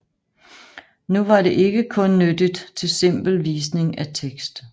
Nu var det ikke kun nyttigt til simpel visning af tekst